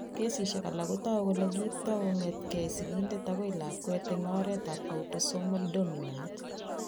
Kesishek alak ko toku kole kikiipto kong'etke sigindet akoi lakwet eng' oretab autosomal dominant.